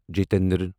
Jitendra